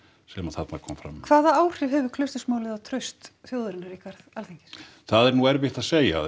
sem þarna kom fram hvaða áhrif hefur Klausturmálið á traust þjóðarinnar á Alþingi það er nú erfitt að segja